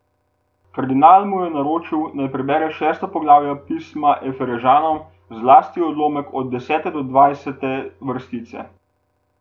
Kardinal mu je naročil, naj prebere šesto poglavje Pisma Efežanom, zlasti odlomek od desete do dvajsete vrstice.